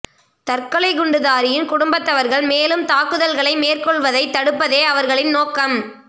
தற்கொலை குண்டுதாரியின் குடும்பத்தவர்கள் மேலும் தாக்குதல்களை மேற்கொள்வதை தடுப்பதே அவர்களின் நோக்கம்